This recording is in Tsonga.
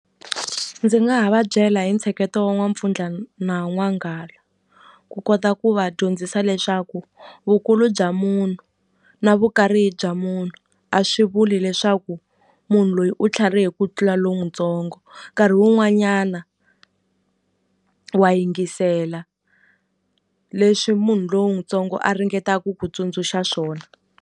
Ndzi nga ha va byela hi ntsheketo wa N'wampfundla na N'wanghala ku kota ku va dyondzisa leswaku vukulu bya munhu na vukarhi bya munhu a swi vuli leswaku munhu loyi u tlharihe ku tlula lon'wutsongo nkarhi wun'wanyana wa yingisela leswi munhu lon'wuntsongo a ringetaka ku ku tsundzuxa swona.